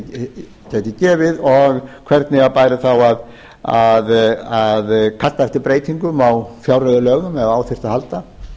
það gæti gefið og hvernig bæri þá að kalla eftir breytingum á fjárreiðulögum ef á þyrfti að halda til þess að koma